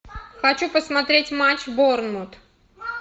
хочу посмотреть матч борнмут